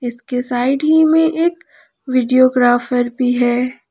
इसके साइड ही में एक वीडियो ग्राफर भी है।